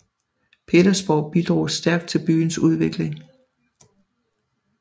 Petersborg bidrog stærkt til byens udvikling